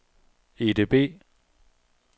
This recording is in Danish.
EDB